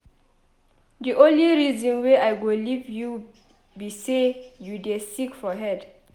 The only reason wey I go leave you be say you dey sick for head